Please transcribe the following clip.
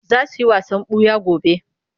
Za su yi wasan ɓuya gobe.